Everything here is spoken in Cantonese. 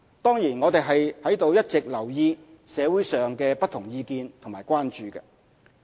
當然，我們在一直留意社會上的不同意見和關注。